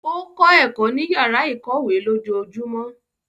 O kọ ẹkọ ni yara ikọwe lójoojúmó.